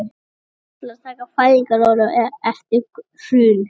Færri karlar taka fæðingarorlof eftir hrun